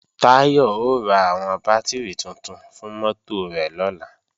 Táyọ̀ ó ra àwọn bátìrì tuntun fún mọ́tò rẹ̀ lọ́la